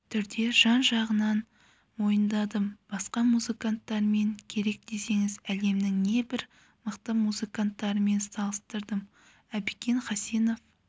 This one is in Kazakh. түрде жан-жағынан мойындадым басқа музыканттармен керек десеңіз әлемнің не бір мықты музыканттарымен салыстырдым әбікен хасенов